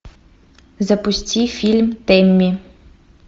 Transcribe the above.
запусти фильм тэмми